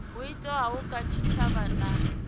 ho thewaho kha tshitshavha na